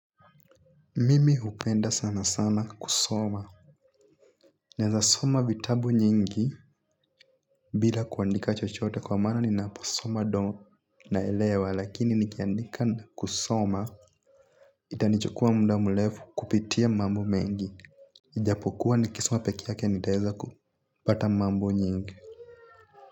Mimi hupenda sana sana kusoma naweza soma vitabu nyingi bila kuandika chochote kwa maana ninapasoma ndo naelewa lakini nikiandika kusoma. Itanichukua muda mrefu kupitia mambo mengi. Ijapokuwa nikisoma peke yake nitaeza kupata mambo nyingi.